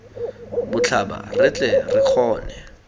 botlhaba re tle re kgone